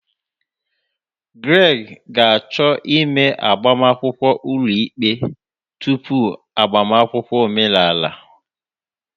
Greg ga-achọ ime agbamakwụkwọ ulo ikpe tupu agbamakwụkwọ omenala.